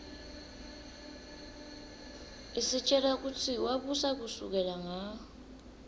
isitjela kutsi wabusa kusukela nga